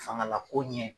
Fangala ko ɲɛ